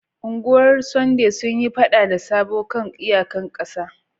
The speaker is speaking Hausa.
Ungwar Sunday sun yi fada da Sabo kan iyaƙan ƙasa.